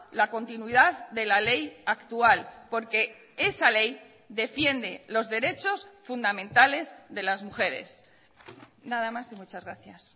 la continuidad de la ley actual porque esa ley defiende los derechos fundamentales de las mujeres nada más y muchas gracias